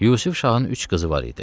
Yusif Şahın üç qızı var idi.